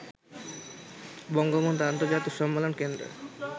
বঙ্গবন্ধু আন্তর্জাতিক সম্মেলন কেন্দ্রে